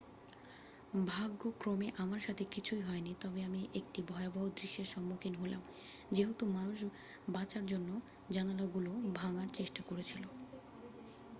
"""ভাগ্যক্রমে আমার সাথে কিছুই হয়নি তবে আমি একটি ভয়াবহ দৃশ্যের সম্মুখীন হলাম যেহেতু মানুষ বাঁচার জন্য জানলাগুলো ভাঙার চেষ্টা করছিল।